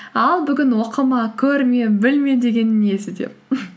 ал бүгін оқыма көрме білме дегені несі деп